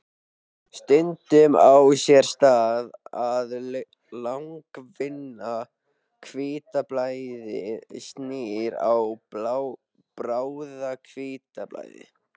Stundum á sér stað að langvinna hvítblæðið snýst í bráða-hvítblæði.